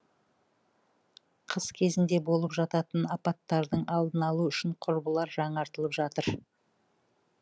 қыс кезінде болып жататын апаттардың алдын алу үшін құбырлар жаңартылып жатыр